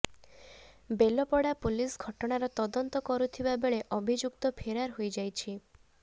Belpada police ଘଟଣାର ତଦନ୍ତ କରୁଥିବା ବେଳେ ଅଭିଯୁକ୍ତ ଫେରାର ହୋଇଯାଇଛି